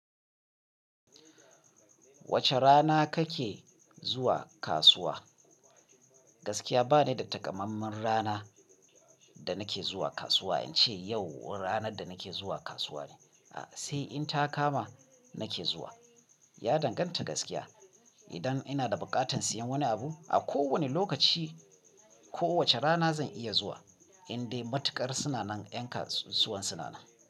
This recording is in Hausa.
Wace rana kake zuwa kasuwa? Gaskiya ba ni da taƙamamman rana da nake zuwa kasuwa, in ce yau ranar da nake zuwa kasuwa ne. A'a sai in ta kama nake zuwa. Ya danganta gaskiya. Idan ina da buƙatar siyan wani abu a kowane lokaci ko wace rana zan iya zuwa indai matuƙar sinanan ƴan kasuwan sinanan.